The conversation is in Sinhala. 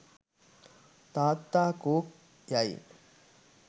''තාත්තා කෝ'' යයි